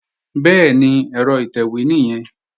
Bẹ́ẹ̀ni, ẹ̀rọ ìtẹ̀wé nìyẹn